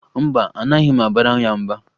Mba, anaghị m abara ya mba